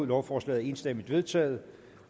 lovforslaget er enstemmigt vedtaget